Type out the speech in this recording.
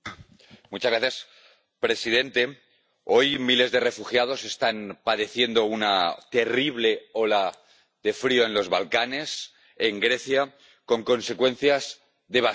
Señor presidente, hoy miles de refugiados están padeciendo una terrible ola de frío en los Balcanes, en Grecia, con consecuencias devastadoras.